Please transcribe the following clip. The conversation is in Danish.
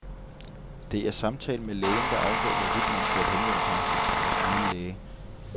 Det er samtalen med lægen, der afgør, hvorvidt man skal henvende sig hos egen læge.